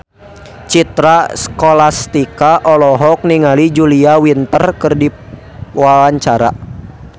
Citra Scholastika olohok ningali Julia Winter keur diwawancara